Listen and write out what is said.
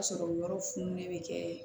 Ka sɔrɔ yɔrɔ fununen bɛ kɛ